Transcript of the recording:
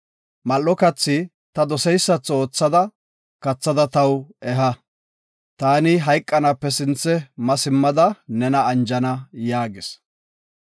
Mal7o kathi ta doseysatho ootha kathada taw eha. Taani hayqanaape sinthe ma simmada nena anjana” yaagis.